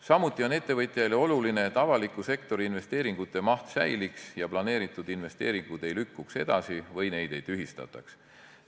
Samuti on ettevõtjaile oluline, et avaliku sektori investeeringute maht säiliks ja planeeritud investeeringud ei lükkuks edasi või neid ei tühistataks.